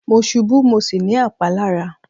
Mo ṣubú mo sì ní àpá lára.